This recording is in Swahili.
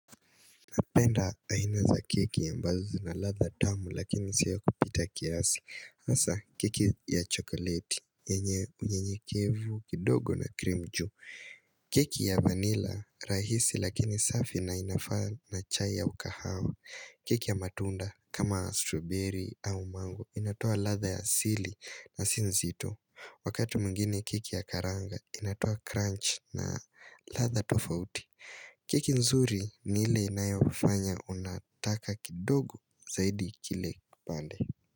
Napenda aina za keki ambazo zina latha tamu lakini si ya kupita kiasi asa keki ya chokoleti yenye unyenyekevu kidogo na cream juu keki ya vanilla rahisi lakini safi na inafaa na chai ya ukahawa keki ya matunda kama strawberry au mango inatoa latha ya asili na si nzito Wakati mwingine keki ya karanga inatoa crunch na latha tofauti keki nzuri ni ile inayofanya unataka kidogo zaidi kile pande.